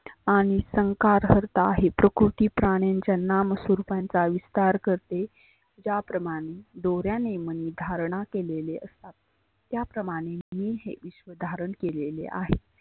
आणि संकार हरता आहेत. प्रकृती प्राण्याच्या नाम स्वरुपाचा विस्तार करते. त्या प्रमाने दोऱ्याने मनी धारना केलेले असतात. त्या प्रमाने धारन केलेले आहेत.